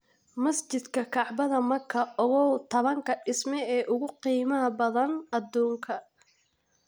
Masjidka Kacbada Maka: Ogow taban-ka dhisme ee ugu qiimaha badan adduunka